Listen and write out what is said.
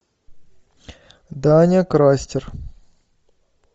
даня крастер